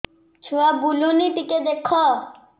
ଛୁଆ ବୁଲୁନି ଟିକେ ଦେଖ